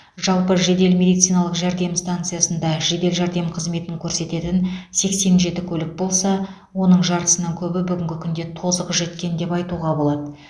жалпы жедел медициналық жәрдем станциясында жедел жәрдем қызметін көрсететін сексен жеті көлік болса оның жартысынан көбі бүгінгі күнде тозығы жеткен деп айтуға болады